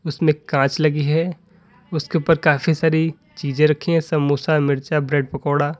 उसमें कांच लगी है उसके ऊपर काफी सारी चीजें रखी हैं समोसा मिर्चा ब्रेड पकोड़ा।